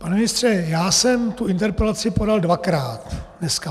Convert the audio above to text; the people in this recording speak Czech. Pane ministře, já jsem tu interpelaci podal dvakrát dneska.